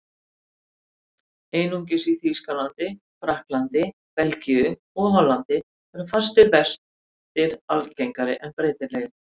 Einungis í Þýskalandi, Frakklandi, Belgíu og Hollandi eru fastir vextir algengari en breytilegir.